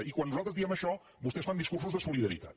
i quan nosaltres diem això vostès fan discursos de solidaritat